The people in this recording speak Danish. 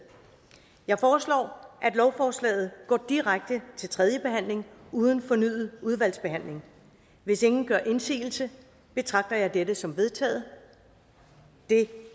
jeg foreslår at lovforslaget går direkte til tredje behandling uden fornyet udvalgsbehandling hvis ingen gør indsigelse betragter jeg dette som vedtaget det